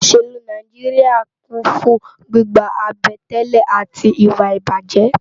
Óṣélú Náijiriá kún fún gbigbá àbẹ̀tẹ́lẹ̀ áti iwá ibájè